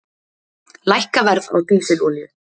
Lækka verð á dísilolíu